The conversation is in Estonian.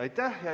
Aitäh!